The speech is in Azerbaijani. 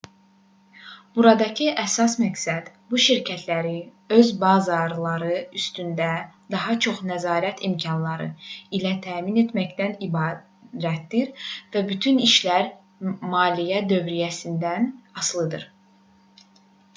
buradakı əsas məqsəd bu şirkətləri öz bazarları üstündə daha çox nəzarət imkanları ilə təmin etməkdən ibarətdir və bütün işlər maliyyə dövriyyəsindən asılıdır